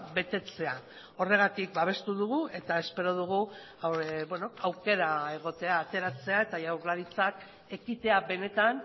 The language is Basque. betetzea horregatik babestu dugu eta espero dugu aukera egotea ateratzea eta jaurlaritzak ekitea benetan